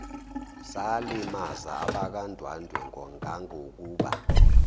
salimaza abakwandwandwe ngangokuba